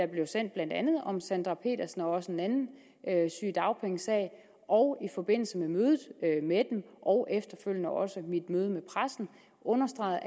blev sendt blandt andet om sandra petersens sag og også en anden sygedagpengesag og i forbindelse med mødet med dem og efterfølgende også mit møde med pressen understregede